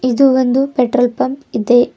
ಇದು ಒಂದು petrol pump ಇದೆ.